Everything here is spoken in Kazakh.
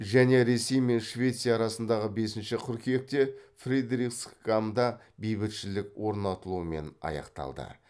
және ресей мен швеция арасындағы бесінші қыркүйекте фридрихсгамда бейбітшілік орнатылуымен аяқталды